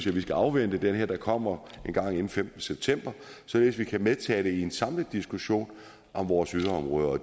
vi skal afvente det der kommer engang inden femtende september således at vi kan medtage det i en samlet diskussion om vores yderområder